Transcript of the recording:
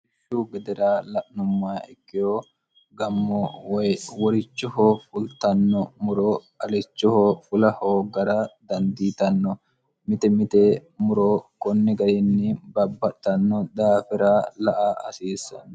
rsihu gedera la'numma ikkeho gammo woy worichoho fultanno muro alichoho fulahoo gara dandiitanno mite mite muro konni gariinni babbatanno daafira la a asiisseno